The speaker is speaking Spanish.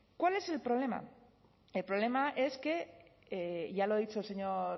cuál es el problema el problema es que ya lo ha dicho el señor